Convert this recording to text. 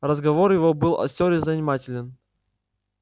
разговор его был остёр и занимателен